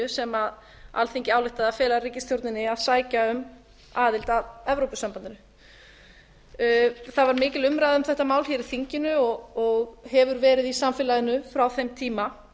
sem alþingi ályktaði að fela ríkisstjórninni að sækja um aðild íslands að evrópusambandinu það var mikil umræða um þetta mál hér í þinginu og hefur verið í samfélaginu frá þeim tíma